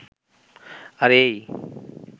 আরে এইইই.